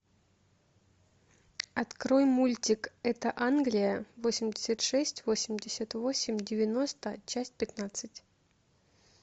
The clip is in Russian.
открой мультик это англия восемьдесят шесть восемьдесят восемь девяносто часть пятнадцать